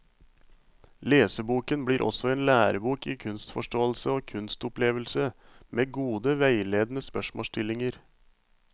Leseboken blir også en lærebok i kunstforståelse og kunstopplevelse, med gode veiledende spørsmålsstillinger.